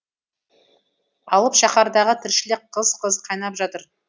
алып шаһардағы тіршілік қыз қыз қайнап жатыр